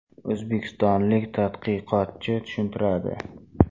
O‘zbekistonlik tadqiqotchi tushuntiradi.